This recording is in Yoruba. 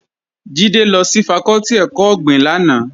Jídé lọ sí fakọ́tì ẹ̀kọ́ ọ̀gbìn lánàá